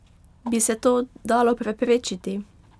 Bi se to dalo preprečiti?